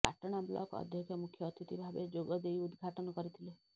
Patna block ଅଧକ୍ଷ ମୁଖ୍ୟ ଅତିଥି ଭାବେ ଯୋଗ ଦେଇ ଉଦ୍ଘାଟନ କରିଥିଲେ